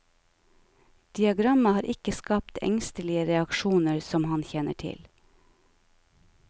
Diagrammet har ikke skapt engstelige reaksjoner som han kjenner til.